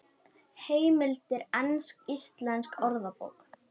Heimildir Ensk-Íslensk Orðabók.